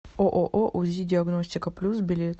ооо узи диагностика плюс билет